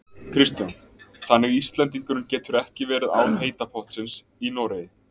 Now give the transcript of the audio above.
Kristján: Þannig Íslendingurinn getur ekki verið án heita pottsins í Noregi?